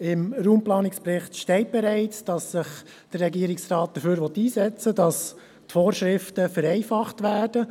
Gemäss Raumplanungsbericht will sich der Regierungsrat für die Vereinfachung der Vorschriften einsetzen.